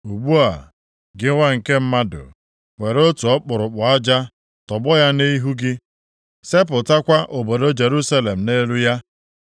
“Ugbu a, gị nwa nke mmadụ, were otu ọkpụrụkpụ aja, tọgbọ ya nʼihu gị. Sepụtakwa obodo Jerusalem nʼelu ya.